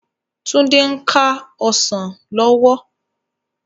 Tunde n ká òsán lòwò